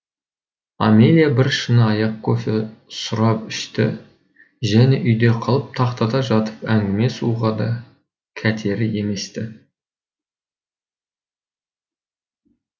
амелия бір шыны аяқ кофе сұрап ішті және үйде қалып тахтада жатып әңгіме соғуға да кәтері емес ті